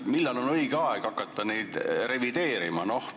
Millal on õige aeg hakata neid piire revideerima?